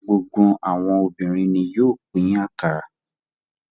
Gbogbo àwọn obìnrin ni yóò pín akara.